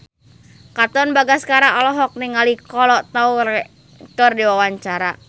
Katon Bagaskara olohok ningali Kolo Taure keur diwawancara